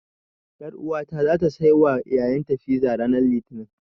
Ƴaruwata zata saiwa ƴaƴanta fiza ranar Litinin.